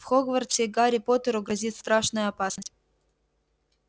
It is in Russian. в хогвартсе гарри поттеру грозит страшная опасность